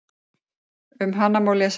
Um hana má lesa hér.